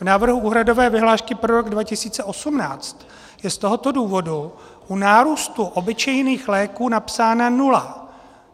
V návrhu úhradové vyhlášky pro rok 2018 je z tohoto důvodu u nárůstu obyčejných léků napsána nula.